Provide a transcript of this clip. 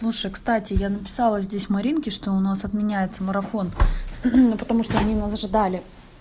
слушай кстати я написала здесь маринки что у нас отменяется марафон потому что они нас ожидали